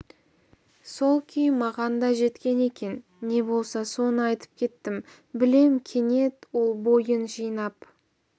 сол күй маған да жеткен екен не болса соны айтып кеттім білем кенет ол бойын жинап